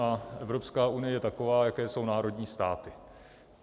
A Evropská unie je taková, jaké jsou národní státy.